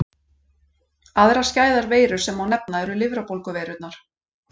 Aðrar skæðar veirur sem má nefna eru lifrarbólguveirurnar.